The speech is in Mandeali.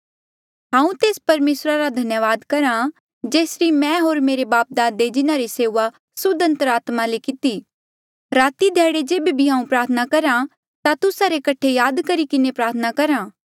हांऊँ तेस परमेसरा रा धन्यावाद करहा जेसरी मैं होर मेरे बापदादे जिन्हारी सेऊआ सुद्ध अंतरात्मा किन्हें कितिरी राती ध्याड़ी जेबे भी हांऊँ प्रार्थना करहा ता तुस्सा रे कठे याद करी किन्हें प्रार्थना करहा